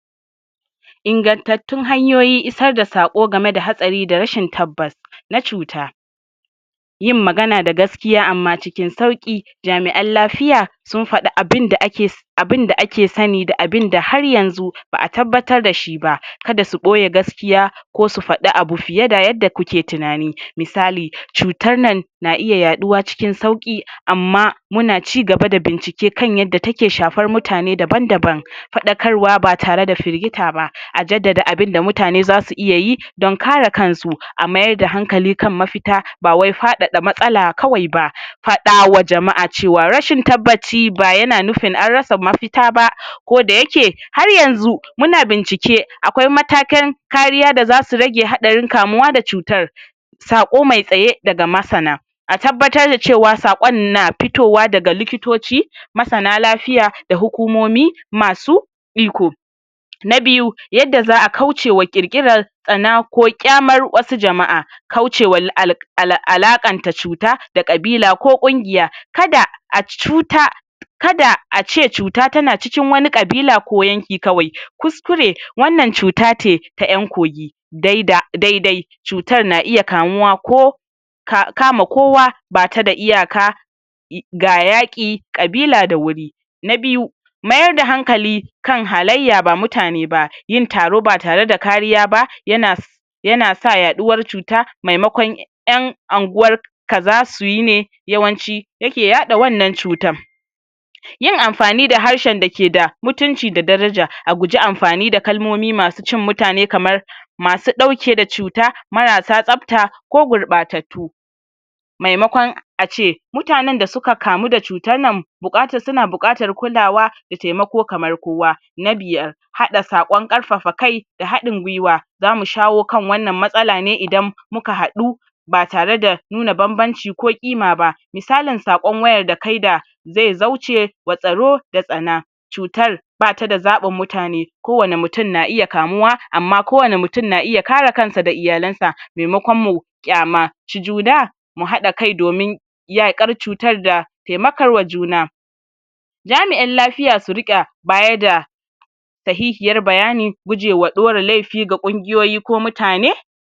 Inagantattun hanyoyin isar da saƙo game da hatsari da rashin tabbas na cuta Yin magana da gasjiya amma cikin sauƙi jami'an lafiya, sun faɗi abinda ake so abinda ake sani da abinda har yanzu ba'a tabbatar dashi ba, ka da su ɓoye gaskiya ko su faɗi abu fiye da yadda kuke tunani. Misali cutar nan na iya yaɗuwa cikin sauƙi amma muna cigaba da bincike kan yadda take shafar mutane daban-daban. Faɗarkarwa ba tare da firgita ba. A jaddada abinda mutane za su iya yi don kare kansu. A mayar da hankali kan mafita ba wai faɗaɗa matsala kawai ba. Faɗawa jama'a cewa rashin tabbaci ba ya na nufin an rasa mafita ba. Koda ya ke har yanzu muna bincike akwai matakin kariya da za su rage haɗarin kamuwa da cutar saƙo mai tsaye daga masana. A tabbatar da cewa saƙon na fitowa daga likitoci, masana lafiya da hukumomi masu iko. Na biyu yadda za'a kaucewa ƙir-ƙirar tsana ko ƙyamar wata jama'a Kaucewal al ala alaƙanta cuta da ƙabila ko ƙungiya. Ka da a cuta ka da ace cuta ta na cikin wata ƙabila ko yanki kawai kuskure wannan cuta ce ta ƴan kogi dai da dai-dai cutar na iya kamuwa ko ka ka kama kowa ba ta da iyaka ga yaƙi ƙabila da wuri. Na biyu mayar da hankali kan halayya ba mutane ba yin taro ba tare da kariya ba, ya na ya na sa yaɗuwar cuta maimakon ƴan anguwaraka za su yi ne yawanci ya ke yaɗa wannan cutan Yin amfani da harshen da ke da mutunci da daraja. A guji amfani da kalmomi masu cin mutane kamar masu ɗauke da cuta maras sa tsafta ko gurɓatattu. Maimakon ace mutanen da suka kamu da cutar nan buƙatar su na buƙatar kulawa taimako kamar kowa. Na biyar haɗa saƙon ƙarfafa kai da haɗin-gwiwa. Zamu shawo kan wannan matsala ne muka haɗu ba tare da nuna bam-banci ko ƙima ba. Misalin saƙon wayar da kai da zai zaucewa tsaro da tsana cutar ba ta da zaɓin mutane kowane mutum na iya kamuwa, amma kowane mutum na iya kare kansa da iyalansa, maimakon mu ƙyama juna, mu haɗa kai domin yaƙar cutar da taimakawa juna Jami'an lafiya su riƙa baya da sahihiyar bayani gujewa ɗora laifi ga ƙungiyoyi ko mutane